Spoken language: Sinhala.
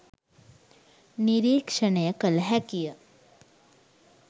නිරීක්‍ෂණය කළ හැකිය.